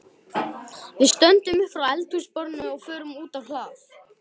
Við stöndum upp frá eldhúsborðinu og förum út á hlað.